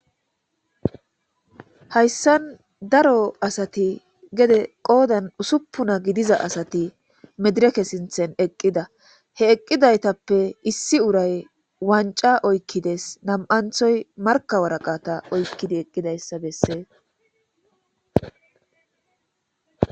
Hayissanni daro asati gedde qodanni ussupuna gidiza asati medirekke sinththanni eqida .he eqidayittappe issi urayyi wanicca oyikides.nam''aniththoyi Marika waaraqata oyikides.